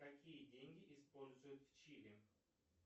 какие деньги используют в чили